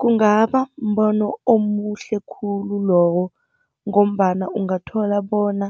Kungaba mbono omuhle khulu lowo, ngombana ungathola bona